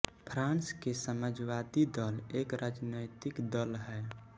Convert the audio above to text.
फ़्राँस के समाजवादी दल एक राजनैतिक दल है